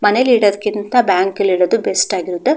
ಮನೇಲಿ ಇದದಕಿಂತ ಬ್ಯಾಂಕಲ್ಲಿ ಇಡದು ಬೆಸ್ಟ್ ಆಗಿದೆ.